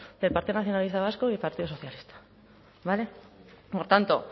del partido nacionalista vasco y del partido socialista vale por tanto